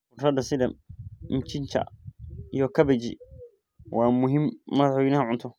Khudradda sida mchicha iyo kabeji waa muhiim madaxweynaha cunto.